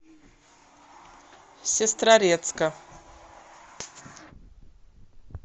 сестрорецка